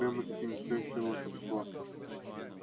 прямо-таки настоящее волшебство